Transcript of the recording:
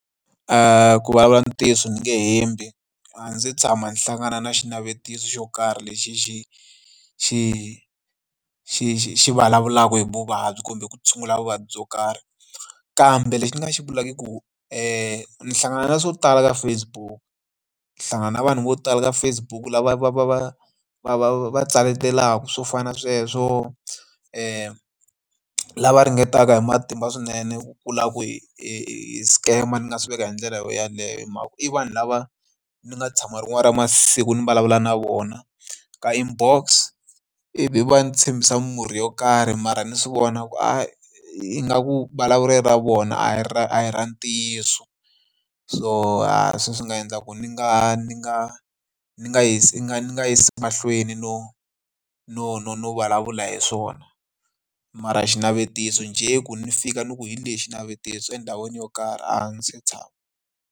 Ku vulavula ntiyiso ni nge hembi a ndzi se tshama ndzi hlangana na xinavetiso xo karhi lexi xi xi vulavulaka hi vuvabyi kumbe ku tshungula vuvabyi byo karhi. Kambe lexi ni nga xi vulaka i ku ni nga hlangana na swo tala ka Facebook, ni hlangana na vanhu vo tala ka Facebook lava va va tsakelaka swo fana na sweswo lava ringetaka hi matimba swinene ku la ku hi scam ni nga swi veka hi ndlela yo yaleyo. I vanhu lava ni nga tshama rin'wana ra masiku ni vulavula na vona ka inbox ivi va n'wi tshembisa murhi yo karhi mara ni swi vona ku ingaku vulavulelo ra vona a hi a hi ra ntiyiso, so hi swona swi nga endla ku ni nga ni nga ni nga yisi mahlweni no no no no vulavula hi swona mara xinavetiso njhe ku ni fika ni ku hi lexi navetiso endhawini yo karhi a ndzi se tshama.